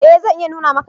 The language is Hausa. E zan iya nuna maka.